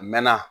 A mɛɛnna